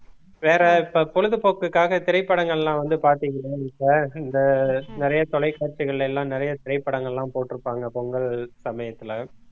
வேற இப்ப பொழுதுபோக்குக்காக திரைப்படங்கள் எல்லாம் வந்து பார்த்தீங்க இந்த நிறைய தொலைக்காட்சிகள் எல்லாம் நிறைய திரைப்படங்கள் எல்லாம் போட்டுருப்பாங்க பொங்கல் சமயத்துல